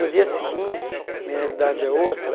No dia seguinte, a minha realidade é outra,